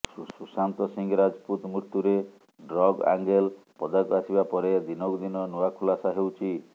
ସୁଶାନ୍ତ ସିଂ ରାଜପୁତ ମୃତ୍ୟୁରେ drug angle ପଦାକୁ ଆସିବା ପରେ ଦିନକୁ ଦିନ ନୂଆ ଖୁଲାସା ହେଉଛି